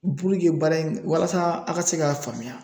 baara in, walasa a ka se ka faamuya.